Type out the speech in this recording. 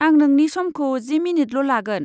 आं नोंनि समखौ जि मिनिटल' लागोन।